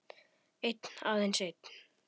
Einn, aðeins einn